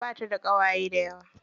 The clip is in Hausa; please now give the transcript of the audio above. Bata da ƙawaye dayawa.